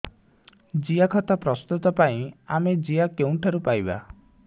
ଜିଆଖତ ପ୍ରସ୍ତୁତ ପାଇଁ ଆମେ ଜିଆ କେଉଁଠାରୁ ପାଈବା